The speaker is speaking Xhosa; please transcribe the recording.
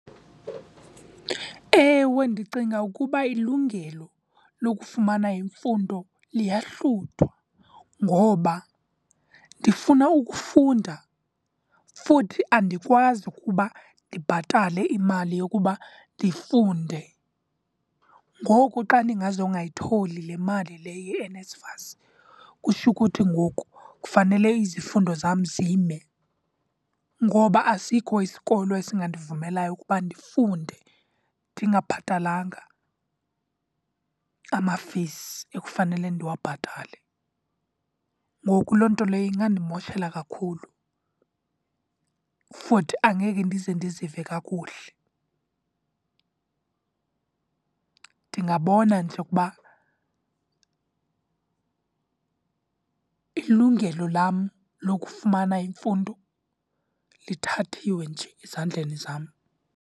Ewe, ndicinga ukuba ilungelo lokufumana imfundo liyahluthwa ngoba ndifuna ukufunda futhi andikwazi ukuba ndibhatale imali yokuba ndifunde. Ngoku xa ndingazi ungayitholi le mali le yeNSFAS, kusho kuthi ngoku kufanele izifundo zam zime, ngoba asikho isikolo esingandivumelayo ukuba ndifunde ndingabhatalanga ama-fees ekufanele ndiwabhatale. Ngoku loo nto leyo ingandimoshela kakhulu, futhi angeke ndize ndizive kakuhle. Ndingabona nje ukuba ilungelo lam lokufumana imfundo lithathiwe nje ezandleni zam.